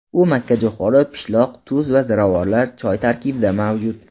U makkajo‘xori, pishloq, tuz, ziravorlar, choy tarkibida mavjud.